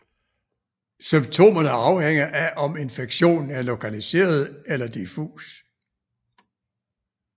Symptomerne afhænger af om infektionen er lokaliseret eller diffus